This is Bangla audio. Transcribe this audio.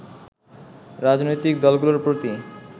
রাজনৈতিক দলগুলোর প্রতি